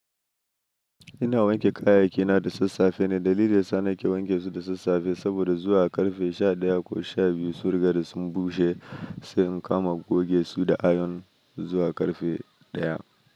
Ina wanke kayayyaki na da sassafe ne dalili ya sa na ke wanke su da sassafe saboda zuwa ƙarfe sha ɗaya ko sha biyu sun riga da sun bushe sai in kama goge su da ayon zuwa ƙarfe ɗaya.